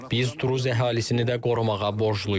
Biz Druz əhalisini də qorumağa borcluyuq.